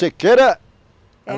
Sequeira